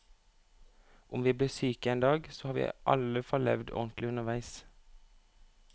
Om vi blir syke en dag, så har vi i alle fall levd ordentlig underveis.